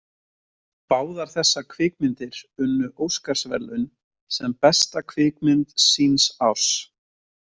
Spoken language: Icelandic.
Báðar þessar kvikmyndir unnu óskarsverðlaun sem besta kvikmynd síns árs.